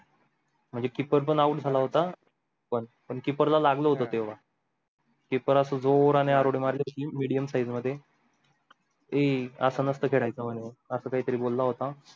म्हणजे keeper पण out जाला होता पन keeper ला लागल होता keeper आसा जोराने आर उड्डी मारली होते medium size मध्ये ऐ आस नासत खेडायच म्हणे अस काही तारे बोला होता